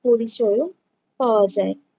পরিচয়ও পাওয়া যায়।